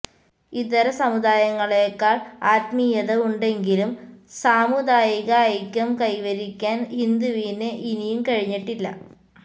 ഇതര സമുദായങ്ങളേക്കാള് ആത്മീയത ഉണ്ടെങ്കിലും സാമുദായിക ഐക്യം കൈവരിക്കാന് ഹിന്ദുവിന് ഇനിയും കഴിഞ്ഞിട്ടില്ല